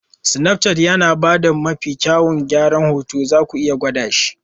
Snapchat yana ba da mafi kyawun gyaran hoto, zaku iya gwada shi.